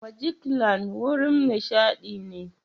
Majiklan wurin nishaɗi ne.